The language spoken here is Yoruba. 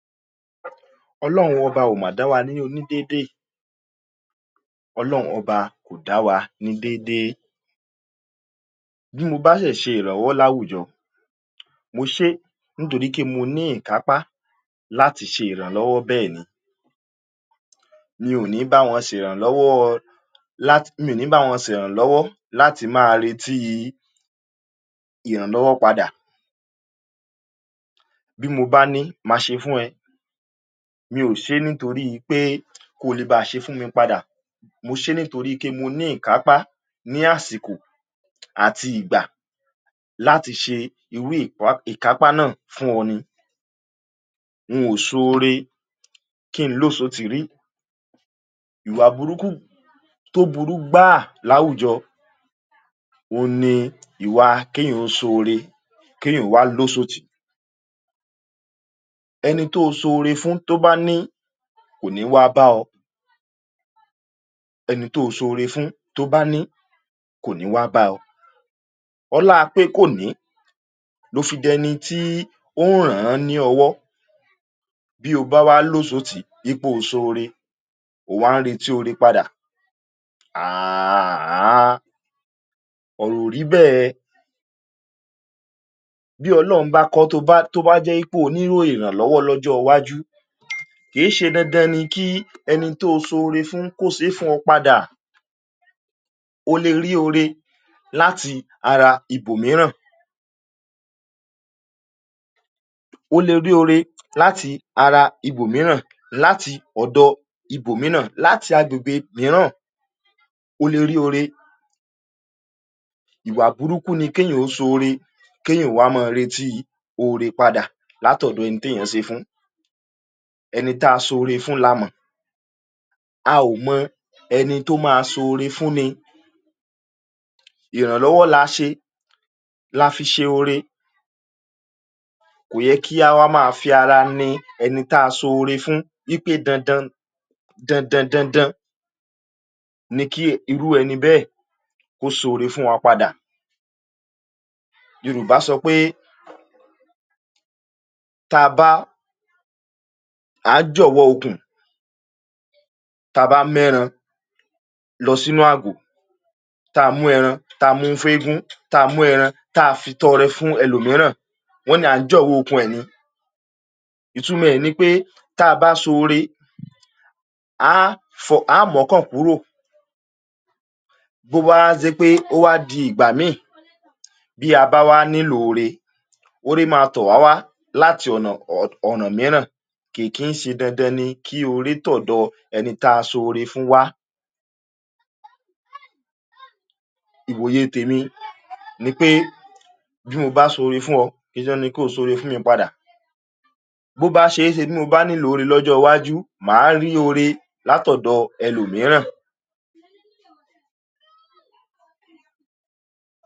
Ọlọrun Ọba má dà wá níyì ọ̀nà dédé. Ọlọrun Ọba kò dà wá ní déédé. Bí mo bá ṣe iranlọ́wọ́ lórí àwùjọ, mo ṣe é torí pé mo ní ìkàpá láti ṣe iranlọ́wọ́ bẹ́ẹ̀ni. Mi ò ní bá wọn ṣe iranlọ́wọ́ láti… Mi ní bá wọn ṣe iranlọ́wọ́ láti má rí ti iranlọ́wọ́ padà. Bí mo bá ní má ṣe fún ẹ, mi ò ṣe é torí pé kò lè bá ṣe fún mi padà. Mo ṣe é torí pé mo ní ìkàpá ní àsìkò àti ìgbà láti ṣe iru ìkàpá náà fún ọ ní. N ò ṣọ́rẹ́ kì í lọṣọ́tì rí ìwàbùrúkù tó burú gba lórí àwùjọ. Ọ̀nà ìwà ni kì í yàn ṣọ́rẹ́ kì í yàn wá lọṣọ́tì. Ẹni tó ṣọ́rẹ́ fún tó bá ní, kò ní wá bá ọ. Ẹni tó ṣọ́rẹ́ fún tó bá ní, kò ní wá bá ọ. Ọ̀lápẹ̀ kò ní lófi dẹ́ ní ti òun ránràn ní ọwọ́ bí ó bá wá lọṣọ́tì gbé ọ̀sọ̀ ọ̀rẹ́, ó wá retí ọ̀rẹ́ padà. Àh àh! Ọ̀rọ̀ orí bẹ́, bí ọmọ ọlọ́mọ bá kọ́, tó bá jẹ́ ipò onírò iranlọ́wọ́ lọ́jọ́ iwájú, kì í ṣe dandan ni kí enìkan ṣọ́rẹ́ fún un kó ṣù fún un padà. Ó lè rí ọ̀rẹ́ láti ara ibòmíì. Ó lè rí ọ̀rẹ́ láti ara ibòmíì, láti ọdọ ibòmíì, láti adúgbò míì. Ó lè rí ọ̀rẹ́. Ìwàbùrúkù ni kì í yàn ṣọ́rẹ́, kì í má rí ti ọ̀rẹ́ padà láti ọdọ ẹni tí ẹyin ṣe fún. Ẹni tá ṣọ́rẹ́ fún là máa mọ̀. A ò mọ ẹni tó máa ṣọ́rẹ́ fúnni. Iranlọ́wọ́ làá ṣe, làfi ṣe ọ̀rẹ́. Kò yẹ kí a fi ara mọ ẹni tá ṣọ́rẹ́ fún pé dandan-dandan ni kí iru ẹni bẹ́ẹ̀ kọ́ sọrí fún wa padà. Yorùbá sọ pé, t'à bá à jọ wọ òkun, t'à bá mé ẹran lọ sínú àgọ̀, t'à mú ẹran, t'à fi ẹ̀gún, t'à mú ẹran, t'à fi ìtọ̀ rẹ̀ fún ẹlòmíì, iran wọn ni a jọ wọ òkun. Ìtumọ̀ ẹ̀ ni pé, t'à bá ṣọ́rẹ́, a fọhùn, a mọ́ kọnu kúrò. Gbogbo wa ń ṣe pé òwà di ìgbà mí, bí a bá wá nílò ọ̀rẹ́, ọ̀rẹ́ máa tọ̀ wá wá láti ọ̀nà míì. Kì í ṣí dandan ni kí ọ̀rẹ́ tọ̀ dọ́ ẹni tá ṣọ́rẹ́ fún wa. Ìbòyè tí mí ni pé bí mo bá ṣọ́rẹ́ fún ọ, kì í ṣe pé kó sọrí fún mi padà. Gbogbo bí a ṣe èṣè, bí mo bá nílò ọ̀rẹ́ lọ́jọ́ iwájú, máa rí ọ̀rẹ́ láti ọdọ ẹlòmíì.